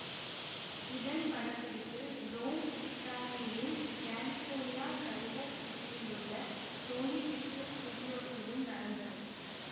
இதன் படப்பிடிப்பு ரோம் இத்தாலியிலும் கலிஃபோர்னியா கல்வர் சிட்டியிலுள்ள சோனி பிக்சர்ஸ் ஸ்டூடியோஸிலும் நடந்தது